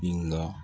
Bin ga